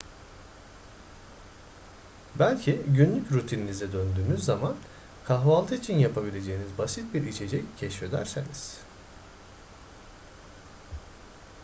belki günlük rutininize döndüğünüz zaman kahvaltı için yapabileceğiniz basit bir içecek keşfedersiniz